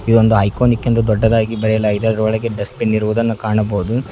ಇದೊಂದು ಐಕಾನಿಕ್ ಎಂದು ದೊಡ್ಡದಾಗಿ ಬರೆಯಲಾಗಿದೆ ಅದರೊಳಗೆ ಡಸ್ಟ್ ಬಿನ್ ಇರುವುದನ್ನು ಕಾಣಬಹುದು.